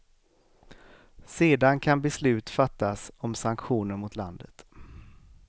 Sedan kan beslut fattas om sanktioner mot landet.